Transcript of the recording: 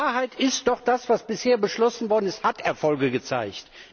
Die Wahrheit ist doch, das, was bisher beschlossen worden ist, hat Erfolge gezeigt!